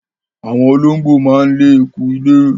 Àwọn olóńgbò máa ń lé eku ilé.